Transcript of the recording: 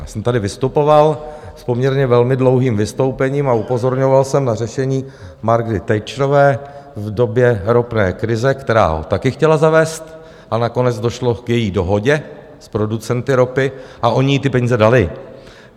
Já jsem tady vystupoval s poměrně velmi dlouhým vystoupením a upozorňoval jsem na řešení Margaret Thatcherové v době ropné krize, která ho taky chtěla zavést, a nakonec došlo k její dohodě s producenty ropy a oni jí ty peníze dali.